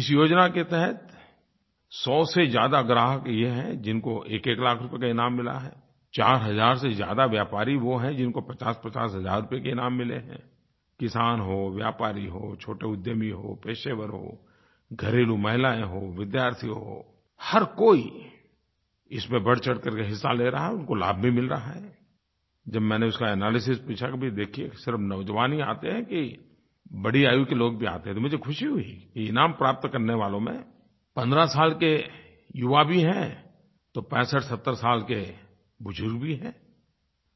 इस योजना के तहत सौ से ज़्यादा ग्राहक ये हैं जिनको एकएक लाख रुपये का इनाम मिला है चार हज़ार से ज़्यादा व्यापारी वो हैं जिनको पचासपचास हज़ार रुपये के इनाम मिले हैंI किसान हों व्यापारी हों छोटे उद्यमी हों पेशेवर हों घरेलू महिलायें हों विद्यार्थी हों हर कोई इसमें बढ़चढ़ करके हिस्सा ले रहा है उनको लाभ भी मिल रहा हैI जब मैंने उसका एनालिसिस पूछा कि भई देखिये सिर्फ नौजवान ही आते हैं कि बड़ी आयु के लोग भी आते हैं तो मुझे ख़ुशी हुई कि इनाम प्राप्त करने वालों में 15 साल के युवा भी हैं तो पैंसठसत्तर साल के बुज़ुर्ग भी हैंI